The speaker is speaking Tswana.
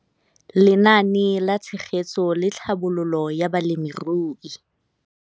Lenaane la Tshegetso le Tlhabololo ya Balemirui.